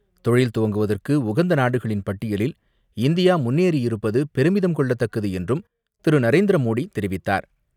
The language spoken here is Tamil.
தொழில் துவங்குவதற்கு உகந்த நாடுகளின் பட்டியலில் இந்தியா முன்னேறியிருப்பது பெருமிதம் கொள்ளத்தக்கது என்றும் திரு நரேந்திர மோடி தெரிவித்தார்.